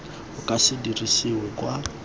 o ka se dirisiwe kwa